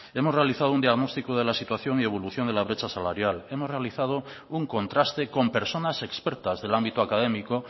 hemos realizado un diagnóstico de la situación y evolución de la brecha salarial hemos realizado un contraste con personas expertas del ámbito académico